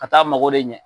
Ka taa mago de ɲɛ